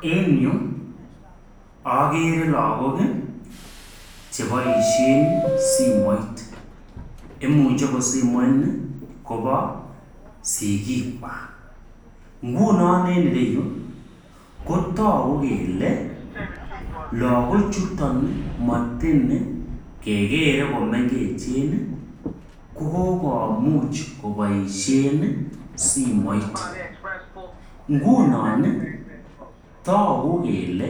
En yu akerei lakok cheboishen simoit ako imuche simoini kobo sikik kwaak ngunoon in ire yu kotaku kole lakok Chu matiny komengech kokomuch koboishen simoit ngunoon iih taku kele